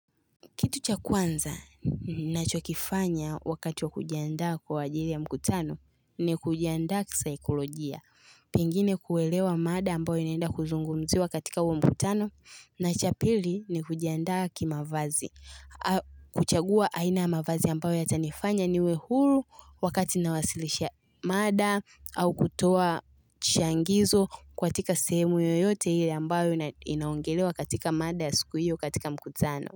Kitu cha kwanza ninachokifanya wakati wa kujiandaa kwa ajili ya mkutano ni kujiandaa kisaiklojia. Pengine kuelewa mada ambayo inaenda kuzungumziwa katika huo mkutano na cha pili ni kujiandaa ki mavazi. Kuchagua aina ya mavazi ambayo yatanifanya niwe huru wakati nawasilisha mada au kutoa changizo katika sehemu yoyote hili ambayo inaongelewa katika mada ya siku hiyo katika mkutano.